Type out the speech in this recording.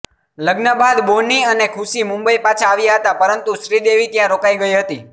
લગ્ન બાદ બોની અને ખુશી મુંબઇ પાછા આવ્યા હતા પરંતુ શ્રીદેવી ત્યાં રોકાઈ ગઇ હતી